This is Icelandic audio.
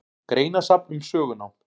Greinasafn um sögunám.